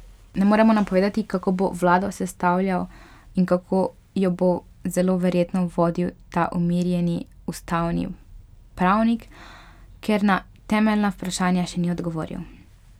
Ne moremo napovedati, kako bo vlado sestavljal in kako jo bo zelo verjetno vodil ta umirjeni ustavni pravnik, ker na temeljna vprašanja še ni odgovoril.